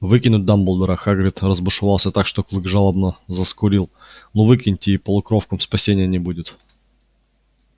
выкинуть дамблдора хагрид разбушевался так что клык жалобно заскулил ну выкинете и полукровкам спасения не будет